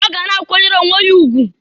Ọ ga na-akwanyere onwe ya ugwu.